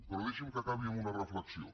però deixin me que acabi amb una reflexió